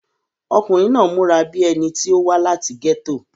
ọkùnrin náà múra bíi ẹni tí ó wá láti gẹ́tò